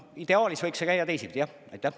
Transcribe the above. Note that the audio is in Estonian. Ideaalis võiks see käia teisiti, jah.